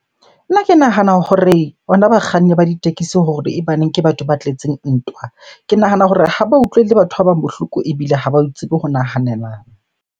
Nna ke nahana hore ona bakganni ba ditekesi hore e baneng ke batho ba tletseng ntwa. Ke nahana hore ha ba utlwele batho ba bang bohloko ebile ha ba tsebe ho nahanelana.